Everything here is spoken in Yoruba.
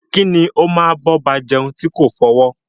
Kí ni o máa bọba jeun ti ko fọwọ́?